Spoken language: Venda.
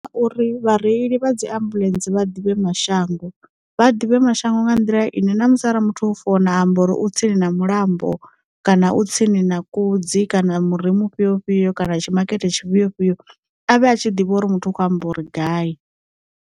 Uri vhareili vha dzi ambuḽentse vha ḓivhe mashango, vha ḓivhe mashango nga nḓila ine na musi ara muthu o founa amba uri u tsini na mulambo, kana u tsini na kudzi kana muri mufhio fhio kana tshi makete tshi fhio fhio, avhe a tshi ḓivha uri muthu a kho amba uri gai.